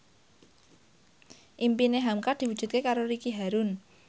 impine hamka diwujudke karo Ricky Harun